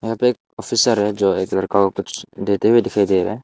यहां पे एक ऑफिसर है जो एक लड़का को कुछ देते हुए दिखाई दे रहा है।